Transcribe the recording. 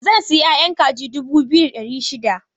Zan sayi ƴaƴan kaji dubu biyu da ɗari shida.